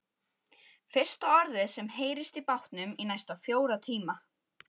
Fyrsta orðið sem heyrist í bátnum í næstum fjóra tíma.